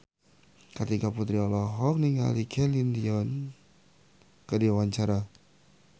Kartika Putri olohok ningali Celine Dion keur diwawancara